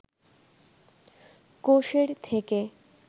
কোষের থেকে